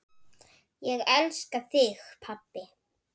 Ég elska þig, pabbi.